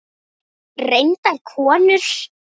Reyndar konur.